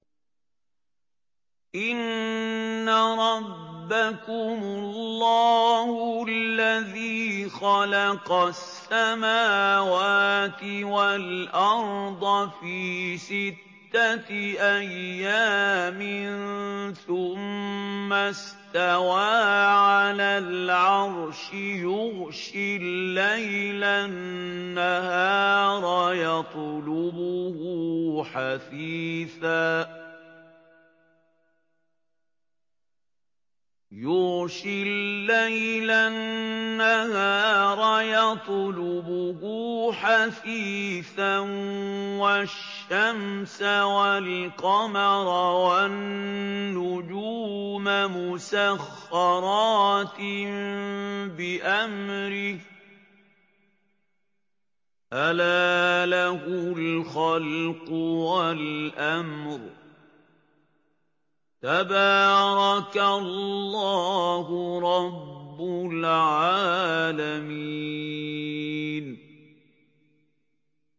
إِنَّ رَبَّكُمُ اللَّهُ الَّذِي خَلَقَ السَّمَاوَاتِ وَالْأَرْضَ فِي سِتَّةِ أَيَّامٍ ثُمَّ اسْتَوَىٰ عَلَى الْعَرْشِ يُغْشِي اللَّيْلَ النَّهَارَ يَطْلُبُهُ حَثِيثًا وَالشَّمْسَ وَالْقَمَرَ وَالنُّجُومَ مُسَخَّرَاتٍ بِأَمْرِهِ ۗ أَلَا لَهُ الْخَلْقُ وَالْأَمْرُ ۗ تَبَارَكَ اللَّهُ رَبُّ الْعَالَمِينَ